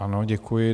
Ano, děkuji.